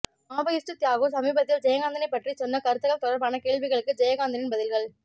Maoist Thiyagu சமீபத்தில் ஜெயகாந்தனைப் பற்றிச் சொன்ன கருத்துகள் தொடர்பான கேள்விகளுக்கு ஜெயகாந்தனின் பதில்கள்